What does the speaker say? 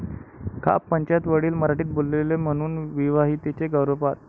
खाप'पंचायत, वडील मराठीत बोलले म्हणून विवाहितेचा गर्भपात!